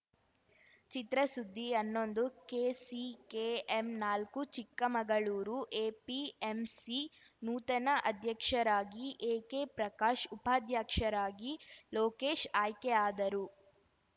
ಚಿತ್ರಸುದ್ದಿ ಹನ್ನೊಂದು ಕೆಸಿಕೆಎಂ ನಾಲ್ಕು ಚಿಕ್ಕಮಗಳೂರು ಎಪಿಎಂಸಿ ನೂತನ ಅಧ್ಯಕ್ಷರಾಗಿ ಎಕೆ ಪ್ರಕಾಶ್‌ ಉಪಾಧ್ಯಕ್ಷರಾಗಿ ಲೋಕೇಶ್‌ ಆಯ್ಕೆಯಾದರು